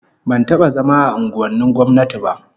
Ban taba zama a unguwannin gwamnati ba